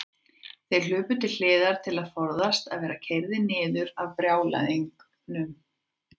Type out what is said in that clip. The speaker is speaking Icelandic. Þeir hlupu til hliðar til að forðast að verða keyrðir niður af brjálæðingnum.